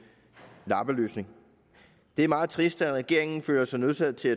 lappeløsning det er meget trist at regeringen føler sig nødsaget til